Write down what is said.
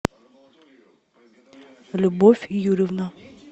любовь юрьевна